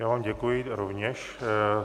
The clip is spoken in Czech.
Já vám děkuji rovněž.